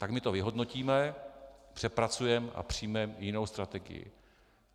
Tak my to vyhodnotíme, přepracujeme a přijmeme jinou strategii."